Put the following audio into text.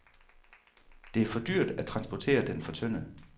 Det er for dyrt, at transportere den fortyndet.